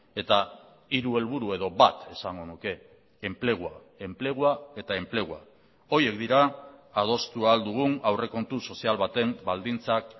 eta hiru helburu edo bat esango nuke enplegua enplegua eta enplegua horiek dira adostu ahal dugun aurrekontu sozial baten baldintzak